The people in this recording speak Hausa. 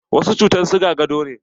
Wasu cutan siga gado ne.